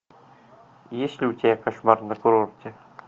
есть ли у тебя кошмар на курорте